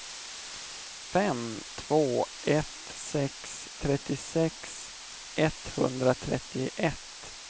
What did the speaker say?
fem två ett sex trettiosex etthundratrettioett